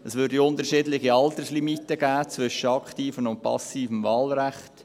Es gäbe unterschiedliche Alterslimiten zwischen aktivem und passivem Wahlrecht;